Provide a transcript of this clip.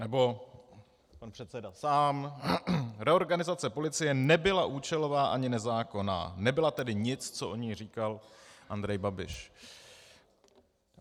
Nebo pan předseda sám: Reorganizace policie nebyla účelová ani nezákonná, nebyla tedy nic, co o ní říkal Andrej Babiš.